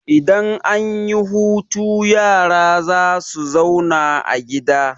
Idan an yi hutu yara za su zauna a gida.